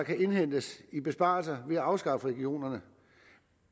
kan indhentes i besparelser ved at afskaffe regionerne